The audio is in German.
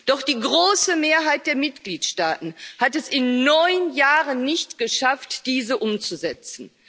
Doch die große Mehrheit der Mitgliedstaaten hat es in neun Jahren nicht geschafft, diese umzusetzen.